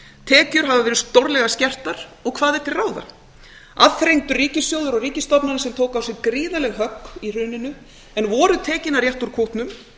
tekjur hafa verið stórlega skertar og hvað er til ráða aðþrengdur ríkissjóður og ríkisstofnanir sem tóku á sig gríðarleg högg í hruninu en voru tekin að rétta úr kútnum